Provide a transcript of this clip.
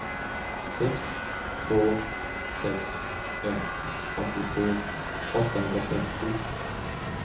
sex två sex ett åttiotvå åttahundratrettio